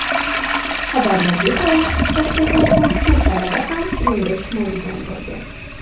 Xabarlarga ko‘ra, Shohjahon mazkur sanada ham ringga chiqmaydigan bo‘lgan.